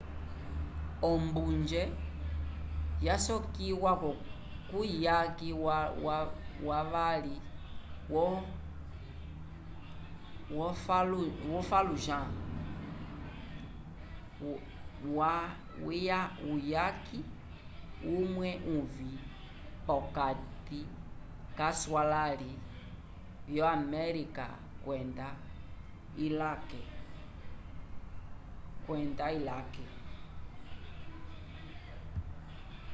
ombunje yasokiwa kuyaki wavali wo fallujah uyaki umwe uvĩ p'okati k'aswalãli vyo-amelika kwenda ilake